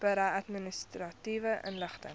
berei administratiewe inligting